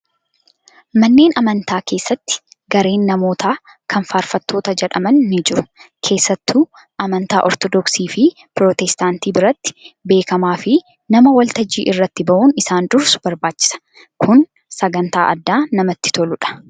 Manneen amantaa keessatti gareen namootaa kan faarfattoota jedhaman ni jiru. Keessattuu amantaa orthodoksii fi pirootestaantii biratti beekamaa fi nama waltajjii irratti bahuun isaan dursu barbaachisa. Kun sagantaa addaa namatti toludha.